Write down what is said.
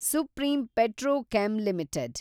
supreme Petrochem limited